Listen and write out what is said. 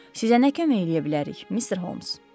Sizə nə kömək eləyə bilərik, Mr. Holmes?